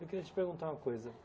Eu queria te perguntar uma coisa.